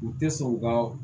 U tɛ sɔn u ka